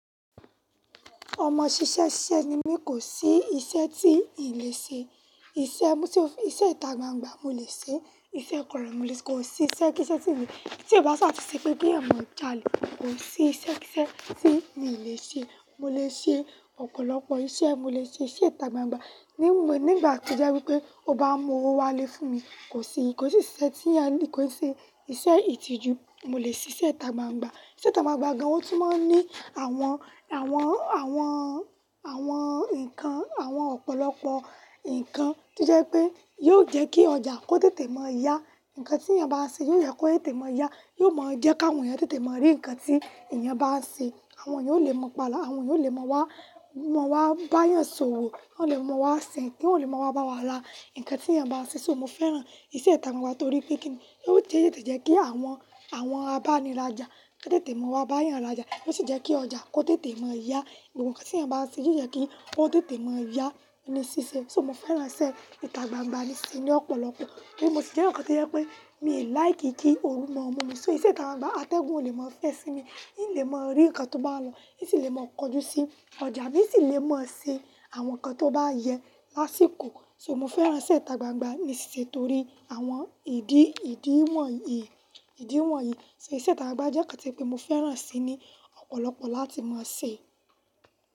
Ọmọ ṣiṣẹ́ ṣiṣẹ́ ni mí kò sí iṣẹ́ tí ì lè ṣe. Iṣẹ́ mú tí ó fi, iṣẹ́ ìta gbangba mo lè ṣe, iṣẹ́ kọrọ mọ lè ṣe, kò sí iṣẹ́ kí iṣẹ́ tí mi, tí ì bá ṣàtí ṣe kí eyan mọ̀ọ́ jalè. Kò sí iṣẹ́ kí iṣẹ́ tí mi lè ṣe. Mo lè ṣe ọ̀pọ̀lọpọ̀ iṣẹ́, mo lè ṣe iṣẹ́ ìta gbangba. Ni ìgbà tí jẹ́ wípé o bá mú owó wá lé fún mi, kò sí, kò sí iṣẹ́ tí ìyá ní kò sí ṣe. Iṣẹ́ ìtìjú mo lè ṣe, iṣẹ́ ìta gbangba. Iṣẹ́ ìta gbangba gan otun máa ń ní àwọn, àwọn, àwọn, àwọn ǹkan, àwọn ọ̀pọ̀lọpọ̀ ǹkan tí jẹ́ pé yóò jẹ́ kí ọjà kó tètè mọ́ yá. Ǹkan tí èèyàn bá ṣe yóò jẹ́ kó tètè mọ́ yá, yóò mọ jẹ́ kí àwọn èèyàn tètè mọ́ rí ǹkan tí èèyàn bá ṣe. Àwọn èèyàn ó lè mọ̀ pala, àwọn èèyàn ó lè mọ̀ wá, mọ̀ wá bá yàn sọ̀wọ̀, wọ́n ó lè mọ̀ wá sìn, kí wọ́n ó lè mọ̀ wá bá wa la ǹkan tí èèyàn bá ṣe. So mo fẹ́ràn iṣẹ́ ìta gbangba torí pé kí ní yó jẹ́ kí àwọn, àwọn aba ni rája, ó tètè mọ̀ wá bá yàn lája. Ó sì jẹ́ kí ọjà kó tètè mọ́ yá. Gbogbo kan tí èèyàn bá ṣe yóò jẹ́ kí ó tètè mọ́ yá ní ṣíṣe. So mo fẹ́ràn iṣẹ́ ìta gbangba nísinsìnyí ọ̀pọ̀lọpọ̀. Tori mo sì jẹ́ eyan kan ti o jẹ́ pé mi ò like kí oru mọ́ mu mi. So iṣẹ́ ìta gbangba atẹ́gun ó lè mọ́ fẹ́ ẹ sinmi, ó lè mọ̀ rí ǹkan tó bá lọ, sì lè mọ̀ kọjú sí ọjà nsì lè mọ̀ ṣe àwọn ǹkan tó bá yẹ lásìkò. So mo fẹ́ràn iṣẹ́ ìta gbangba nísinsìnyí torí àwọn ìdí, ìdíwọ̀n yìí, ìdíwọ̀n yìí. So iṣẹ́ ìta gbangba jẹ́ ǹkan tí pé mo fẹ́ràn si ni ọ̀pọ̀lọpọ̀ láti máa ṣe.